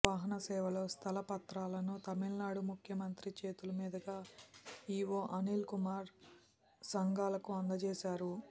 వాహన సేవలో స్థల పత్రాలను తమిళనాడు ముఖ్యమంత్రి చేతులమీదుగా ఈఓ అనిల్కుమార్ సింఘాల్కు అందజేశారు